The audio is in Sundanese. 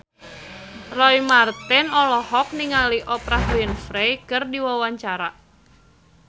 Roy Marten olohok ningali Oprah Winfrey keur diwawancara